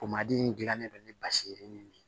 in gilannen don ni basi ye yirinin de ye